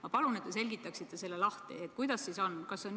Ma palun, et te selgitaksite, kuidas siis sellega on.